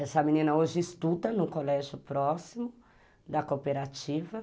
Essa menina hoje estuda no colégio próximo da cooperativa.